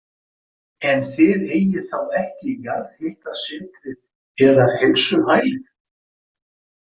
En þið eigið þá ekki jarðhitasetrið eða heilsuhælið?